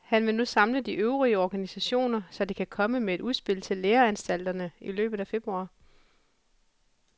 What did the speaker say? Han vil nu samle de øvrige organisationer, så de kan komme med et udspil til læreanstalterne i løbet af februar.